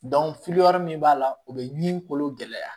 min b'a la o bɛ ɲin kolo gɛlɛya